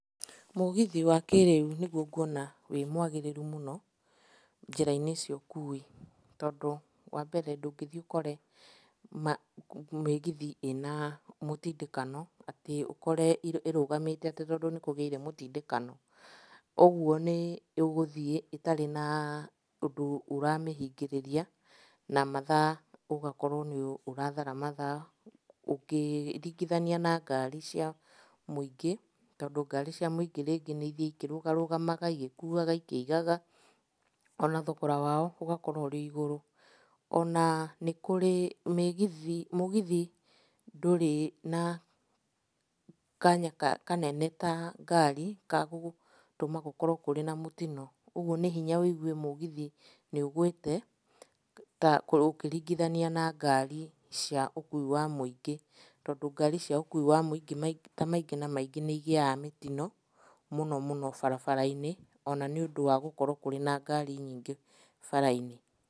Mũgithi wa kĩrĩu nĩguo nguona wĩ mwagĩrĩru mũno njĩra-inĩ cia ũkui, tondũ wambere, ndũngĩthiĩ ũkore mĩgithi ĩna mũtindĩkano, atĩ ũkore ĩrũgamĩte atĩ tondũ nĩkũgĩire mũtindĩkanao. Ũguo nĩũgũthiĩ ĩtarĩ na ũndũ ũramĩhingĩrĩria na mathaa, ũgakorwo nĩũrathara mathaa ũkĩringithania na ngari cia mũingĩ, tondũ ngari cia mũingĩ rĩngĩ nĩithiaga ikĩrũgarũgamaga igĩkuaga ikĩigaga, ona thogora wao ũgakorwo ũrĩ igũrũ. Ona nĩ kũrĩ ,mĩgithi mũgithi ndũrĩ na kanya kanene ta ngari ka gũtũma gũkorwo kũrĩ na mũtino. Ũguo nĩ hinya wĩigue mũgithi nĩũgwĩte ta ũkĩringithania na ngari cia ũkui wa mĩungĩ, tondũ ngari cia ũkui wa mũingĩ maita maingĩ na maingĩ nĩigĩaga mĩtino mũno mũno barabara-inĩ, ona nĩũndũ wa gũkorwo kũrĩ na ngari nyingĩ bara-inĩ.